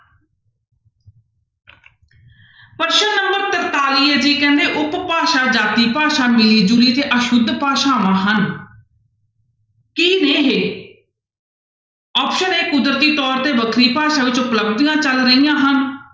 ਪ੍ਰਸ਼ਨ number ਤਰਤਾਲੀ ਹੈ ਜੀ ਕਹਿੰਦੇ ਉਪ ਭਾਸ਼ਾ ਜਾਤੀ ਭਾਸ਼ਾ ਮਿਲੀ ਜੁਲੀ ਤੇ ਅਸੁਧ ਭਾਸ਼ਾਵਾਂ ਹਨ ਕੀ ਨੇ ਇਹ option a ਕੁਦਰਤੀ ਤੌਰ ਤੇ ਵੱਖਰੀ ਭਾਸ਼ਾ ਵਿੱਚ ਉਪਲਬਧੀਆਂ ਚੱਲ ਰਹੀਆਂ ਹਨ,